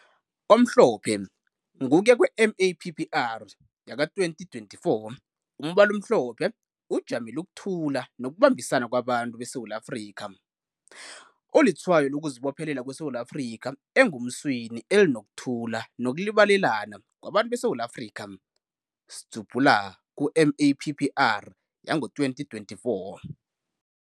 Omhlophe - Ngokuya kwe-Mappr, 2024, umbala omhlopho ujamele ukuthulwa nokubambisana kwabantu beSewula Afrika. Ulitshayo lokuzibophelela kweSewula Afrika engomuseni elinokuthula nokulibalelana kwabantu beSewula Afika, Mappr 2024.